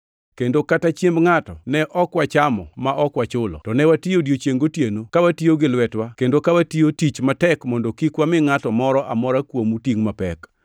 kendo kata chiemb ngʼato ne ok wachamo ma ok wachulo. To ne watiyo odiechiengʼ gotieno, ka watiyo gi lwetewa kendo ka watiyo tich matek mondo kik wami ngʼato moro amora kuomu tingʼ mapek.